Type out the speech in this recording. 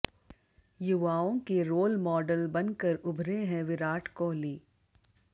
युवाओं के role model बनकर उभरे हैं विराट कोहली